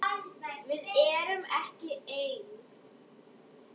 Við erum ekki ein.